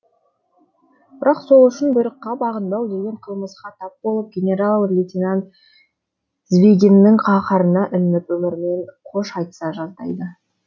бірақ сол үшін бұйрыққа бағынбау деген қылмысқа тап болып генарал лейтенант звегиннің қаһарына ілініп өмірімен қош айтыса жаздайды